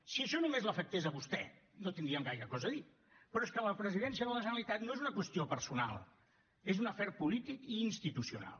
si això només l’afectés a vostè no tindríem gaire cosa a dir però és que la presidència de la generalitat no és una qüestió personal és un afer polític i institucional